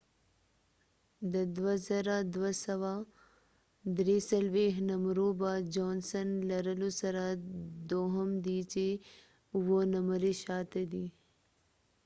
جانسن johnson د 2،243 نمرو به لرلو سره دوهم دي چې 7 نمری شاته دي